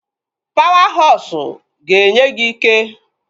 Pawa hosụ ga-enye gị ike